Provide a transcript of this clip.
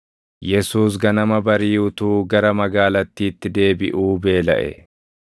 Yesuus ganama barii utuu gara magaalattiitti deebiʼuu beelaʼe.